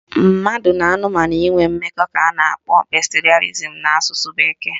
Mmadụ na anụmanụ inwe mmekọ ka a na-akpọ bestialism na asụsụ bekee